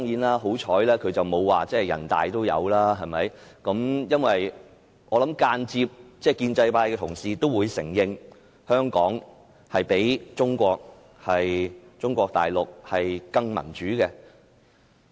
幸好他們沒有說人大常委會也有類似條文，因為我相信建制派同事也會間接承認，香港較中國大陸更民主。